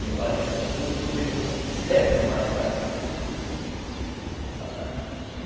Levaram ele com tudo o sucuri para terra e mataram o sucuri para lá.